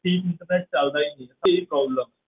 ਜੀ internet ਚੱਲਦਾ ਹੀ ਨੀ same problem